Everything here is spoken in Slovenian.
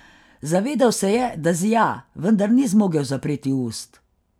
Zavedal se je, da zija, vendar ni zmogel zapreti ust.